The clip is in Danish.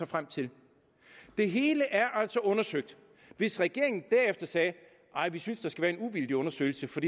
frem til det hele er altså undersøgt hvis regeringen derefter sagde nej vi synes der skal være en uvildig undersøgelse for